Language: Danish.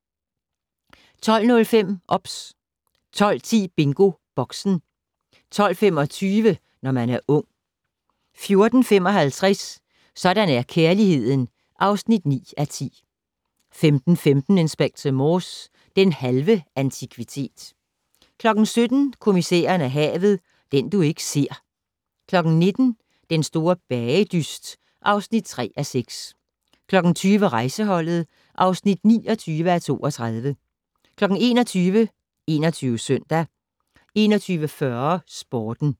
12:05: OBS 12:10: BingoBoxen 12:25: Når man er ung 14:55: Sådan er kærligheden (9:10) 15:15: Inspector Morse: Den halve antikvitet 17:00: Kommissæren og havet: Den du ikke ser 19:00: Den store bagedyst (3:6) 20:00: Rejseholdet (29:32) 21:00: 21 Søndag 21:40: Sporten